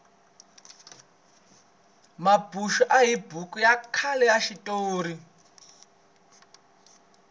mambuxu i buku ya khale ya xitori